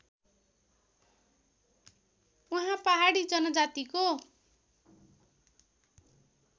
उहाँ पहाडी जनजातिको